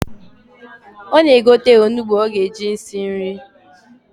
Ọ na-egote onugbu o ga-eji esi nri.